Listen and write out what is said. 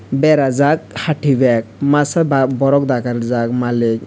berajak hati bag masa ba borok daka rijak malik.